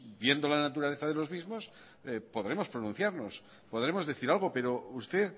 viendo la naturaleza de los mismos podremos pronunciarnos podremos decir algo pero usted